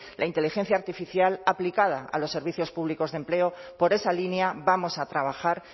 la inteligencia artificial aplicada a los servicios públicos de empleo por esa línea vamos a trabajar